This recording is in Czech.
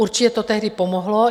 Určitě to tehdy pomohlo.